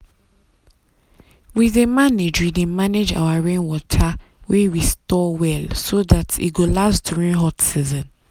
we dey manage we dey manage our rainwater wey we store well so dat e go last during hot season.